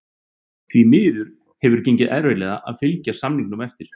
Því miður hefur gengið erfiðlega að fylgja samningum eftir.